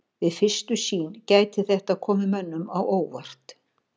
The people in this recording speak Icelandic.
Við fyrstu sýn gæti þetta komið mönnum á óvart.